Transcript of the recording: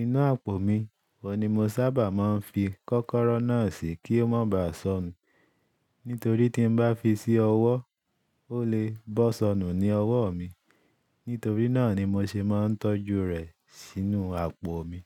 Inú àpò mi wọ ni mo sábà máa ń fi kọ́kọ́rọ́ náà sí kí ó máa bá sọnù. Nítorí tí n bá fi sí ọwọ́, ó lè bọ́ sọnù ní ọwọ́ mi. Nítorí náà ni mo ṣe máa ń tọ́jú rẹ̀ sínú àpò mi.